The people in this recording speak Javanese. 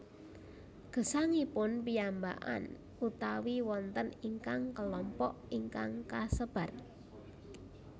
Gesangipun piyambakan utawi wonten ingkang kelompok ingkang kasebar